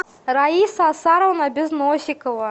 раиса асаровна безносикова